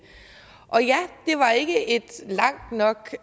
og ja det var ikke et langt nok